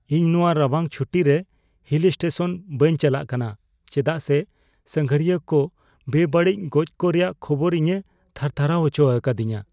ᱤᱧ ᱱᱚᱶᱟ ᱨᱟᱵᱟᱝ ᱪᱷᱩᱴᱤ ᱨᱮ ᱦᱤᱞ ᱥᱴᱮᱥᱚᱱ ᱵᱟᱹᱧ ᱪᱟᱞᱟᱜ ᱠᱟᱱᱟ ᱪᱮᱫᱟᱜ ᱥᱮ ᱥᱟᱸᱜᱷᱟᱨᱤᱭᱟᱹ ᱠᱚ ᱵᱮᱼᱵᱟᱹᱲᱤᱡ ᱜᱚᱡ ᱠᱚ ᱨᱮᱭᱟᱜ ᱠᱷᱚᱵᱚᱨ ᱤᱧᱮ ᱛᱷᱟᱨ ᱛᱷᱟᱨᱟᱣ ᱦᱚᱪᱚ ᱟᱠᱟᱫᱤᱧᱟ ᱾